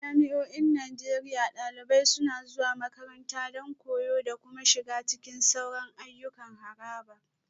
A jami'o'in Najeriya, dalibai suna zuwa makaranta don koyo da kuma shiga cikin sauran ayyukan harabar